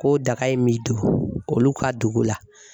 Ko daga in bɛ don olu ka dugu la